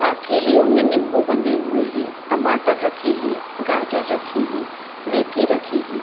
आ थैलियों में नीम्बू बंधे हुए है टमाटर रखे है गाजर रखे है मेथी रखी है।